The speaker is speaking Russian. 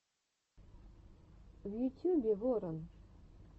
в ютюбе ворон